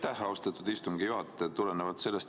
Aitäh, austatud istungi juhataja!